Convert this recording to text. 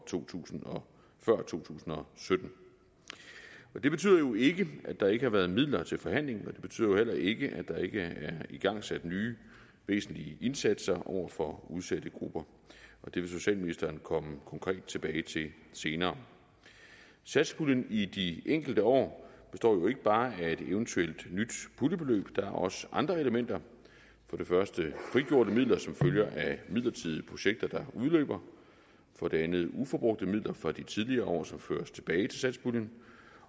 to tusind og sytten det betyder jo ikke at der ikke har været midler til forhandling og det betyder jo heller ikke at der ikke er igangsat nye væsentlige indsatser over for udsatte grupper det vil socialministeren komme konkret tilbage til senere satspuljen i de enkelte år består ikke bare af et eventuelt nyt puljebeløb der er også andre elementer for det første frigjorte midler som følger af midlertidige projekter der udløber for det andet uforbrugte midler fra de tidligere år som føres tilbage til satspuljen